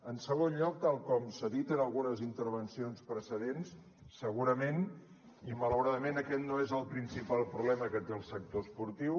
en segon lloc tal com s’ha dit en algunes intervencions precedents segurament i malauradament aquest no és el principal problema que té el sector esportiu